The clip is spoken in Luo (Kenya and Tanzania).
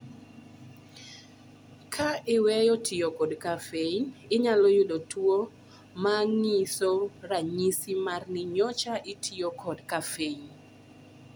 Ka iweyo tiyo kod kafein, inyalo yudo tuwo ma ng'iso ranyisi mar ni nyocha itiyo kod kafein.